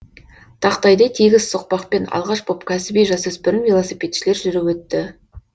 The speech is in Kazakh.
тақтайдай тегіс соқпақпен алғаш боп кәсіби жасөспірім велосипедшілер жүріп өтті